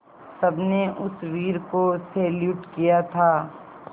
सबने उस वीर को सैल्यूट किया था